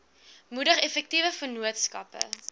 moedig effektiewe vennootskappe